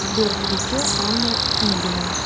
сбер включи анна пингина